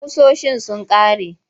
Ƙusoshin sun ƙare.